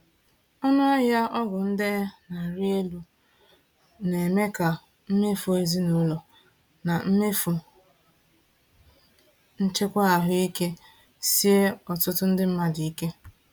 Ọnụahịa ọgwụ ndenye na-arị elu na-eme ka mmefu ezinaụlọ na mmefu nchekwa ahụike sie ọtụtụ ndị mmadụ ike.